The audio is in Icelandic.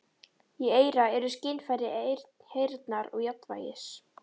Í eyra eru skynfæri heyrnar og jafnvægis.